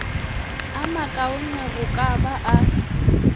a makaone go ka ba